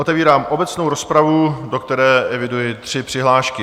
Otevírám obecnou rozpravu, do které eviduji tři přihlášky.